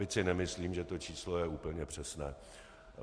Byť si nemyslím, že to číslo je úplně přesné.